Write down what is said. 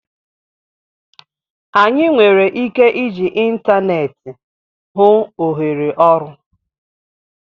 Anyị nwere ike iji ịntaneetị hụ ohere ọrụ